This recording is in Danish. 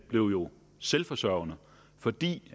blev jo selvforsørgende fordi